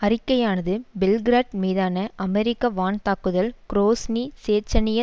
அறிக்கையானது Belgrade மீதான அமெரிக்க வான்தாக்குதல் குரோஸ்னி சேச்சனிய